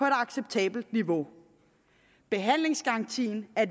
acceptabelt niveau behandlingsgarantien er